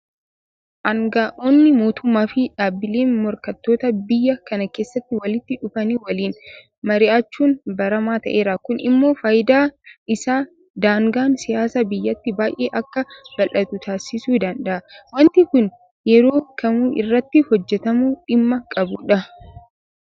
Aanga'oonni mootummaafi dhaabbileen morkattootaa biyya kana keessatti walitti dhufanii waliin mari'achuun baramaa ta'eera. Kun immoo faayidaan isaa daangaan siyaasaa biyyattii baay'ee akka bal'atu taasisuu danda'a. Waanti kun yeroo kamuu irratti hojjetamuu dhimma qabudha.